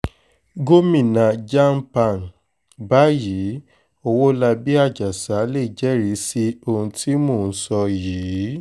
gomina jam pan báyìí ọwọ́labí àjàsà lè jẹ́rìí sí ohun tí mò ń sọ yìí